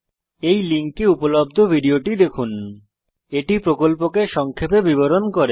এই লিঙ্কে উপলব্ধ ভিডিওটি দেখুন httpspoken tutorialorgWhat is a Spoken Tutorial এটি প্রকল্পকে সংক্ষেপে বিবরণ করে